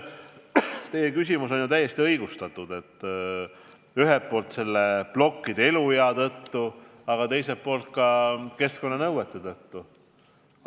Teie küsimus on aga täiesti õigustatud, ühelt poolt plokkide eluea tõttu, teiselt poolt keskkonnanõuete tõttu.